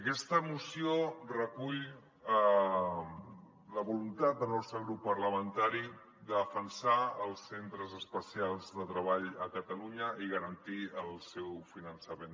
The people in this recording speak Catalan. aquesta moció recull la voluntat del nostre grup parlamentari de defensar els centres especials de treball a catalunya i garantir el seu finançament